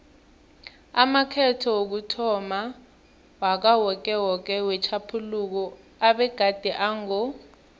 amakhetho wokuthomma wakawokewoke wetjhaphuluko abegade ango